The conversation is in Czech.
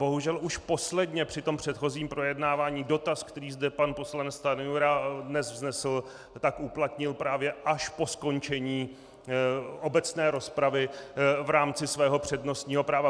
Bohužel už posledně, při tom předchozím projednávání, dotaz, který zde pan poslanec Stanjura dnes vznesl, tak uplatnil právě až po skončení obecné rozpravy v rámci svého přednostního práva.